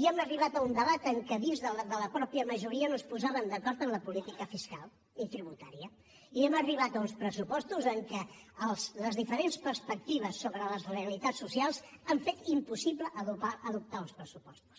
i hem arribat a un debat en què dins de la mateixa majoria no es posaven d’acord en la política fiscal i tributària i hem arribat a uns pressupostos en què les diferents perspectives sobre les realitats socials han fet impossible adoptar els pressupostos